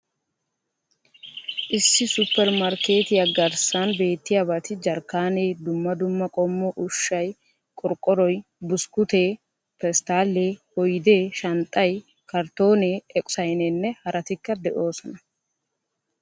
Issi supper markkeetiya garssan beettiyabati jarkkaanee, dumma dumma qommo ushshay, qorqqoroy, buskkuutee, pesttaalee, oydee, shanxxay, karttoonne, eqo sayneenne hartikka de'oosona.